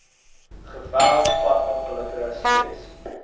geweld padongelukke stres